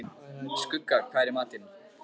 Skugga, hvað er í matinn?